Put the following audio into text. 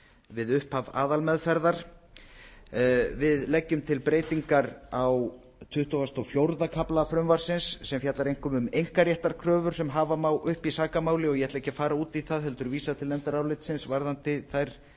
við upphaf aðalmeðferðar við leggjum til breytingar á tuttugustu og sjötta kafla frumvarpsins sem fjallar einkum um einkaréttarkröfur sem hafa má uppi í sakamáli og ég ætla ekki að fara út í það heldur vísa til nefndarálitsins varðandi þær